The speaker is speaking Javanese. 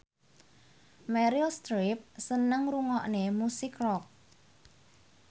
Meryl Streep seneng ngrungokne musik rock